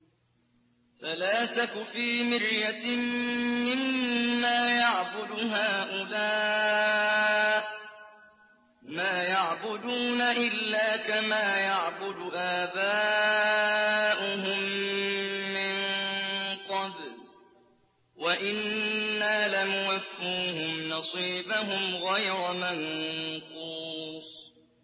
فَلَا تَكُ فِي مِرْيَةٍ مِّمَّا يَعْبُدُ هَٰؤُلَاءِ ۚ مَا يَعْبُدُونَ إِلَّا كَمَا يَعْبُدُ آبَاؤُهُم مِّن قَبْلُ ۚ وَإِنَّا لَمُوَفُّوهُمْ نَصِيبَهُمْ غَيْرَ مَنقُوصٍ